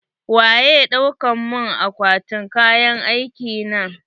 Waye dauka mun akwatin kayan aiki na?